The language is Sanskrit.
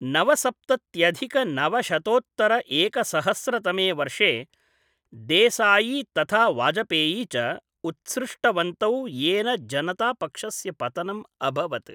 नवसप्तत्यधिक नवशतोत्तर एकसहस्र तमे वर्षे, देसायी तथा वाजपेयी च उत्सृष्टवन्तौ, येन जनता पक्षस्य पतनम् अभवत्।